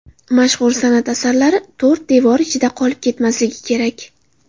Mashhur san’at asarlari to‘rt devor ichida qolib ketmasligi kerak.